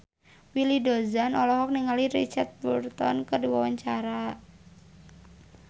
Willy Dozan olohok ningali Richard Burton keur diwawancara